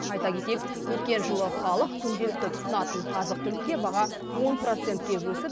айта кетейік өткен жылы халық күнделікті тұтынатын азық түлікке баға он процентке өсіп